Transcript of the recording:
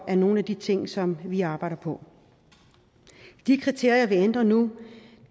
er nogle af de ting som vi arbejder på de kriterier vi ændrer nu